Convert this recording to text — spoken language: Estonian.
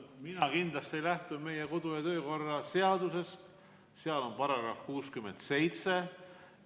Ma kindlasti lähtun meie kodu- ja töökorra seadusest, seal on § 67.